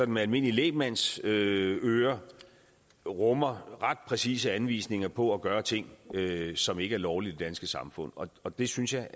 med almindelig lægmandsøre rummer ret præcise anvisninger på at gøre ting som ikke er lovlige i det danske samfund og det synes jeg